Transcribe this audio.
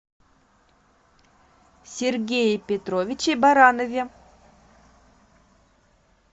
сергее петровиче баранове